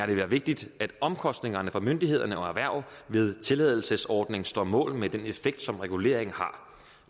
vil være vigtigt at omkostningerne for myndighederne og erhvervet ved tilladelsesordningen står mål med den effekt som reguleringen har